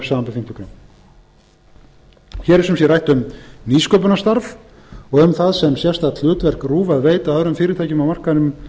grein hér er sem sé rætt um nýsköpunarstarf og um það sem sérstakt hlutverk rúv að veita öðrum fyrirtækjum á markaðnum